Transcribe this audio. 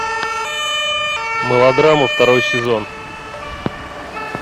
мылодрама второй сезон